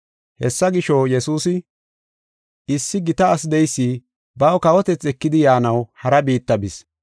Hessa gisho, Yesuusi, “Issi gita asi de7eysi baw kawotethi ekidi yaanaw hara biitta bis.